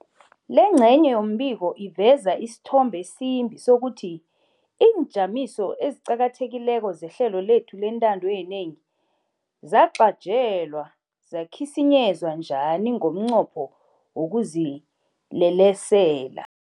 Lengcenye yombiko iveza isithombe esimbi sokuthi iinjamiso eziqakathekileko zehlelo lethu lentando yenengi zacajelwa zakhisinyezwa njani ngomnqopho wokuzilelesela.